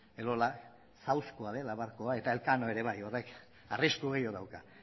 elola dela barkua eta elkano ere bai horrek arrisku gehiago dauka